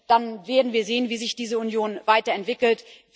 Dann werden wir sehen, wie sich diese Union weiterentwickelt.